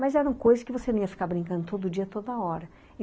Mas eram coisas que você não ia ficar brincando todo dia, toda hora.